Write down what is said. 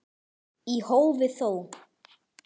Í hófi þó.